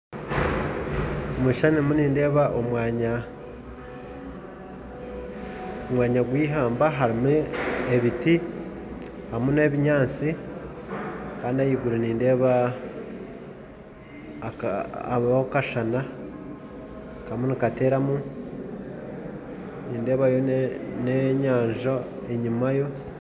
Omu kishushani omu nindeeba omwanya omwanya gw'eihamba harimu ebiti harimu n'ebinyaatsi kandi ahaiguru nindeeba hariho akashana karimu nikateeramu nindeebayo n'enyanja enyima